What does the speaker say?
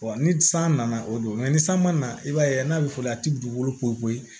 ni san nana o don ni san mana i b'a ye n'a bɛ fɔli a tɛ dugukolo ko ye